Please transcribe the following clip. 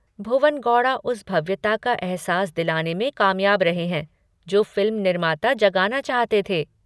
भुवन गौड़ा उस भव्यता का अहसास दिलाने में कामयाब रहे हैं जो फिल्म निर्माता जगाना चाहते थे।